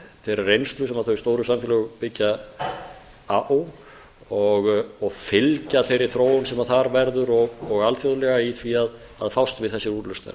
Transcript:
þeirrar reynslu sem þau stóru samfélög byggja á og fylgja þeirri þróun sem þar verður og alþjóðlega í því að fást við þessi úrlausnarefni